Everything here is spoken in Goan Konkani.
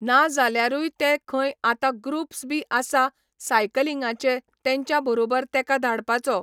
ना जाल्यारूय ते खंय आता ग्रुप्स बी आसा सायकलींगाचे तेंच्या बरोबर तेका धाडपाचो